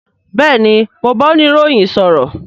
Bẹẹni, mo ń bá oniroyin sọ̀rọ̀